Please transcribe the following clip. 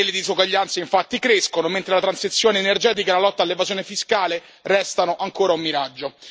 Le disuguaglianze infatti crescono, mentre la transizione energetica e la lotta all'evasione fiscale restano ancora un miraggio.